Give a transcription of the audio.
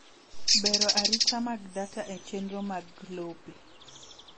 Bero arita mag data e chenro mag lope.